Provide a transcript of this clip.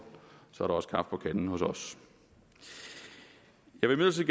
så er der også kaffe på kanden hos os jeg vil